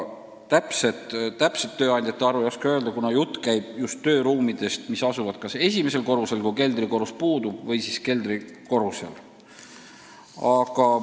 Täpset tööandjate arvu ei oska öelda, kuna jutt käib just tööruumidest, mis asuvad kas esimesel korrusel, kui keldrikorrus puudub, või siis keldrikorrusel.